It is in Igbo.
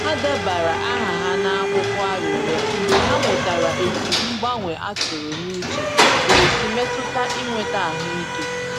Ha debara aha ha n’akwụkwọ arịrịọ mgbe ha mụtara etu mgbanwe a tụrụ n’uche ga esi mmetụta inweta ahụike.